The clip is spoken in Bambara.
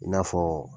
I n'a fɔ